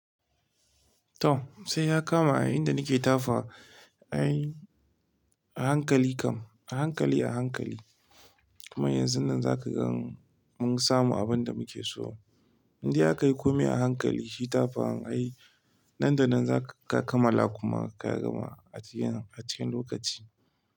Tom, sai ya kama a yayinda nake tafawa, ai a hankali kam, a hankali a hankali. Kuma yanzun nan za ka gan mun samu abin da muke so. Indai akayi kome a hankali shi tafawan ai. Nan da nan za ka kamala kuma ka gama a cikin, a cikin lokaci.